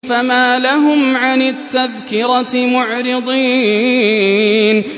فَمَا لَهُمْ عَنِ التَّذْكِرَةِ مُعْرِضِينَ